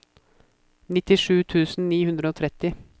nittisju tusen ni hundre og tretti